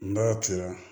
N ba ci la